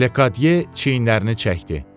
Lekadyer çiyinlərini çəkdi.